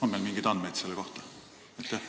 On meil mingeid andmeid selle kohta?